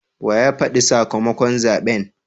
Wa ya fadi sakamakon zaben?